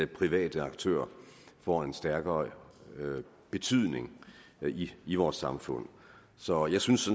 private aktører får en stærkere betydning i vores samfund så jeg synes